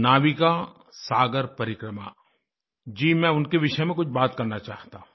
नाविका सागर परिक्रमा जी मैं उनके विषय में कुछ बात करना चाहता हूँ